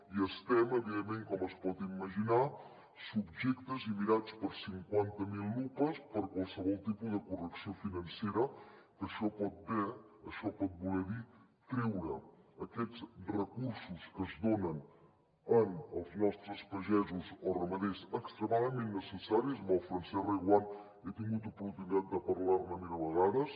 i estem evidentment com es pot imaginar subjectes i mirats per cinquanta mil lupes per a qualsevol tipus de correcció financera que això pot voler dir treure aquests recursos que es donen als nostres pagesos o ramaders extremadament necessaris amb el francesc reguant he tingut oportunitat de parlar ne mil vegades